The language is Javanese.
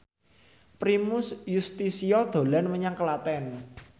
Primus Yustisio dolan menyang Klaten